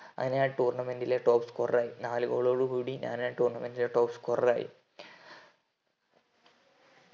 അങ്ങനെ ഞാൻ tournament ലെ top scorer ആയി നാലു goal ഒടുകൂടി ഞാൻ ആ tournament ലെ top scorer ആയി